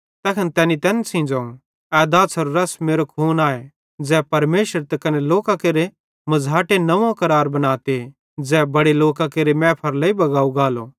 तैखन तैनी तैन सेइं ज़ोवं ए दाछ़ारे रस मेरो खून आए ज़ै परमेशर त कने लोकां केरे मझ़ाटे नव्वों करार बनाते ज़ै बड़े लोकां केरे मैफारे लेइ बगाव गालो